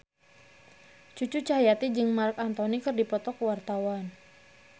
Cucu Cahyati jeung Marc Anthony keur dipoto ku wartawan